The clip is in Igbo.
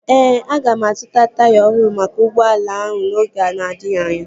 Ee, aga m azụta taya ọhụrụ maka ụgbọala ahụ n'oge na-adịghị anya